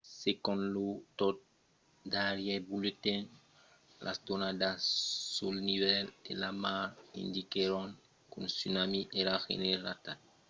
segon lo tot darrièr bulletin las donadas sul nivèl de la mar indiquèron qu’un tsunami èra generat. i aviá cèrta activitat definida de tsunami enregistrada còsta pago pago e niue